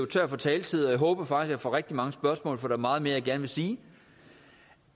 tør for taletid og jeg håber faktisk jeg får rigtig mange spørgsmål for der er meget mere jeg gerne vil sige